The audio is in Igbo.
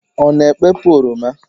Ọ na-ekpepu oroma?